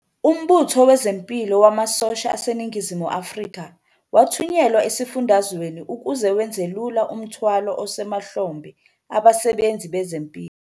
UMbutho Wezempilo Wamasosha aseNingizimu Afrika wathunyelwa esifundazweni ukuze wenzelula umthwalo osemahlombe abasebenzi bezempilo.